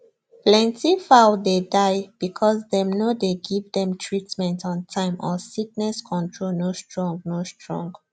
plenty fowl dey die because dem no dey give them treatment on time or sickness control no strong no strong